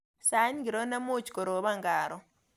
Sait ngiro nemuch koroban karon